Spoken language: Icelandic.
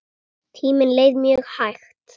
Tíminn leið mjög hægt.